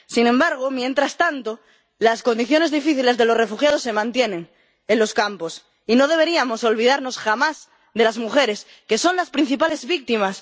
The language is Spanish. Sin embargo, mientras tanto, las condiciones difíciles de los refugiados se mantienen en los campos y no deberíamos olvidarnos jamás de las mujeres, que son las principales víctimas.